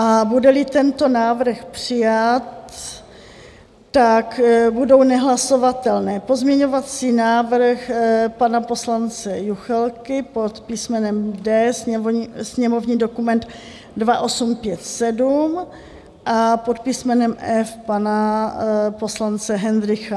A bude-li tento návrh přijat, tak budou nehlasovatelné: pozměňovací návrh pana poslance Juchelky pod písmenem D - sněmovní dokument 2857 a pod písmenem F pana poslance Hendrycha.